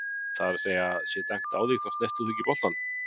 það er að segja, sé dæmt á þig þá snertir þú ekki boltann?